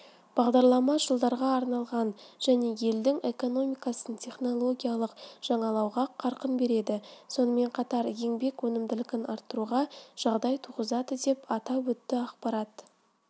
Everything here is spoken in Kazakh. бағдарлама жылдарға арналған және елдің экономикасын технологиялық жаңалауға қарқын береді сонымен қатар еңбек өнімділігін арттыруға жағдай туғызады деп атап өтті ақпарат